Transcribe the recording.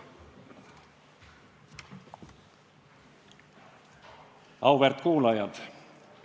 Auväärt kuulajad!